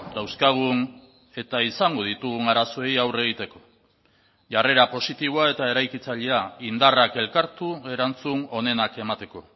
dauzkagun eta izango ditugun arazoei aurre egiteko jarrera positiboa eta eraikitzailea indarrak elkartu erantzun onenak emateko